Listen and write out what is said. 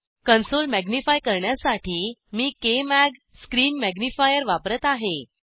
console magnify करण्यासाठी मी KMag screen magnifier वापरत आहे